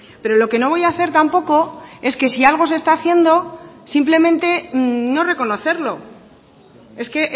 pero lo que no voy a hacer tampoco es que si algo se está haciendo simplemente no reconocerlo es que